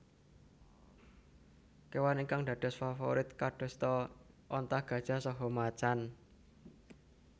Kewan ingkang dados faforit kadosta onta gajah saha macan